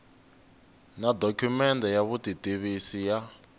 na dokumende ya vutitivisi ya